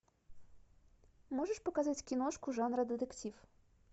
можешь показать киношку жанра детектив